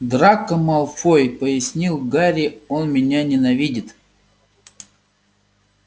драко малфой пояснил гарри он меня ненавидит